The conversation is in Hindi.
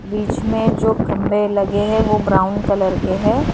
बीच में जो खंभे लगे हैं वो ब्राउन कलर के है।